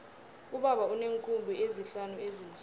ubaba uneenkhumbi ezihlanu ezimhlophe